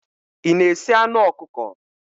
Ị na-esi anụ ọkụkọ?